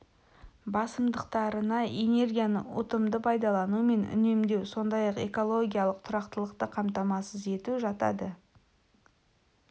басымдықтарына энергияны ұтымды пайдалану мен үнемдеу сондай-ақ экологиялық тұрақтылықты қамтамасыз ету жатады